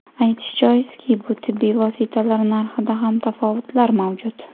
Aytish joizki, bu tibbiy vositalar narxida ham tafovutlar mavjud.